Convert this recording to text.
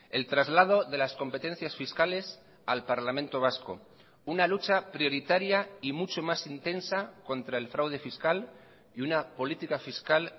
el traslado de las competencias fiscales al parlamento vasco una lucha prioritaria y mucho más intensa contra el fraude fiscal y una política fiscal